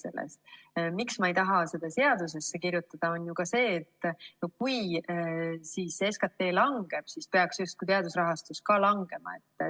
Põhjus, miks ma ei taha seda seadusesse kirjutada, on ju ka see, et kui SKT langeb, siis peaks justkui teaduse rahastus ka langema.